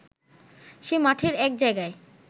সে মাঠের এক জায়গায়